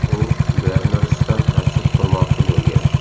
U Bernardsda masjid qurmoqchi bo‘lgan.